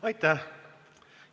Aitäh!